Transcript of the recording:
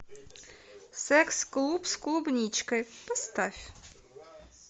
секс клуб с клубничкой поставь